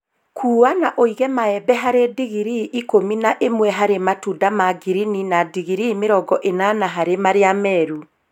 Kuua na uige maembe harĩ digirii ikũmi na ĩmwe harĩ matunda ma ngirini na digirii mĩrongo ĩnana harĩ marĩa meru